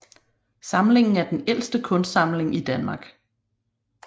Samlingen er den ældste kunstsamling i Danmark